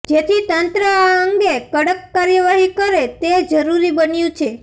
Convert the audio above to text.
જેથી તંત્ર આ અંગે કડક કાર્યવાહી કરે તે જરૃરી બન્યું છે